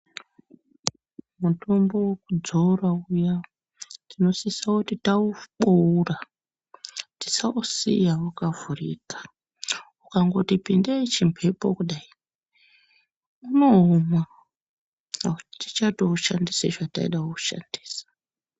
Mutombo wekudzora uya tinosise kuti taubeura tisausiya wakavhurika ukangoti pindei chimhepo kudai unooma atichatoushandisi zvataide kuushandisa.